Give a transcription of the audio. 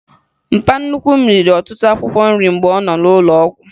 Mpa nnukwu m riri ọtụtụ akwụkwọ nrị mgbe ọ nọ n'ụlọụgwụ